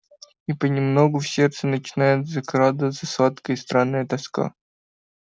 и понемногу в сердце начинает закрадываться сладкая и странная тоска